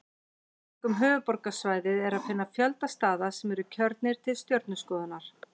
Í kringum höfuðborgarsvæðið er að finna fjölda staða sem eru kjörnir til stjörnuskoðunar.